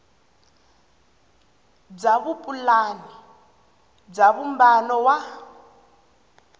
bya vupulani bya vumbano wa